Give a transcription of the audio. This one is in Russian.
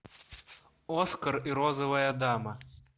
оскар и розовая дама